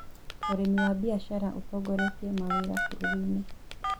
ũrĩmi wa biacara ũtongoretiĩ mawĩra bũrũri-inĩ.